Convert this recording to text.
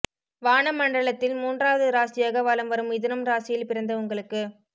வான மண்டலத்தில் மூன்றாவது ராசியாக வலம் வரும் மிதுனம் ராசியில் பிறந்த உங்களுக்கு